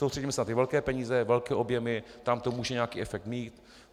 Soustředíme se na ty velké peníze, velké objemy, tam to může nějaký efekt mít.